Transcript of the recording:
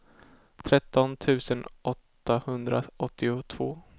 tretton tusen åttahundraåttiotvå